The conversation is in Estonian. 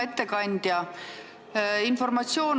Hea ettekandja!